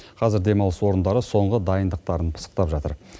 қазір демалыс орындары соңғы дайындықтарын пысықтап жатыр